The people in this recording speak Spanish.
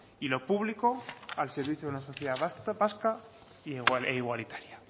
y lo público al servicio de una sociedad vasca e igualitaria